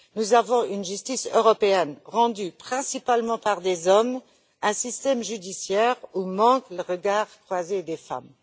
Nous avons une justice européenne rendue principalement par des hommes et un système judiciaire où manque le regard croisé des femmes.